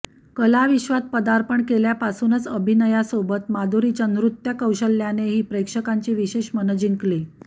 कलाविश्वात पदार्पण केल्यापासूनच अभिनयासोबत माधुरीच्या नृत्यकौशल्यानेही प्रेक्षकांची विशेष मनं जिंकली